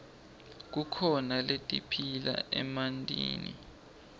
kukhona letiphila emantini